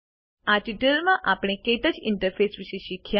આ ટ્યુટોરીયલ માં આપણે ક્ટચ ઇન્ટરફેસ વિશે શીખ્યા